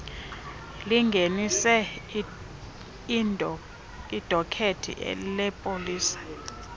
lingenise idokethi lepolisa